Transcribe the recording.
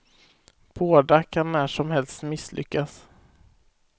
Båda kan när som helst misslyckas.